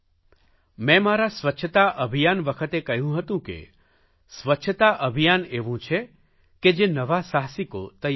મેં મારા સ્વચ્છતા અભિયાન વખતે કહ્યું હતું કે સ્વચ્છતા અભિયાન એવું છે કે જે નવા સાહસિકો તૈયાર કરશે